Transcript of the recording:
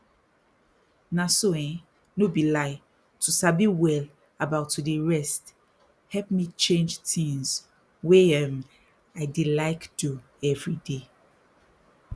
na so eh no be lie to sabi well about to dey rest help me change tins wey um i dey like do everyday